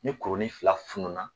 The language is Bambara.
Ni kurunin fila fununa